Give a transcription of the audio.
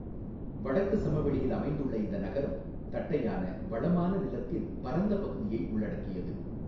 வடக்கு சமவெளியில் அமைந்துள்ள இந்த நகரம், தட்டையான, வளமான நிலத்தின் பரந்த பகுதியை உள்ளடக்கியது.